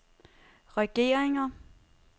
regeringer